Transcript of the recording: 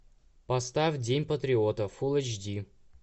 поставь день патриота фулл эйч ди